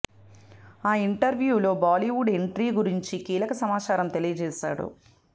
ఆ interview లో Bollywood entry గురించి కీలక సమాచారం తెలియజేశాడు